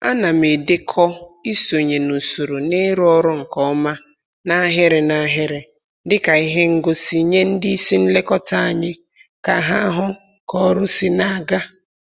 Ana m edekọ isonye n'usoro na ịrụ ọrụ nke ọma n'ahịrị n'ahịrị dịka ihe ngosi nye ndị isi nlekọta anyị ka ha hụ k'ọrụ si na-aga